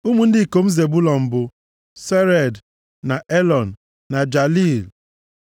Ụmụ ndị ikom Zebụlọn bụ, Sered, na Elọn, na Jaliil.